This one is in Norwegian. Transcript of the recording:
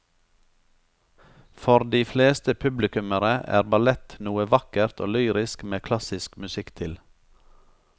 For de fleste publikummere er ballett noe vakkert og lyrisk med klassisk musikk til.